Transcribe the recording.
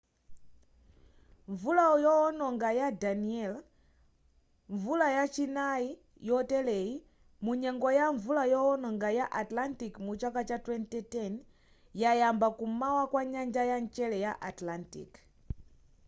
mvula yoononga ya danielle mvula yachinai yoteleyi munyengo ya mvula yoononga ya atlantic mu chaka cha 2010 yayamba kum'mawa kwa nyanja ya mchere ya atlantic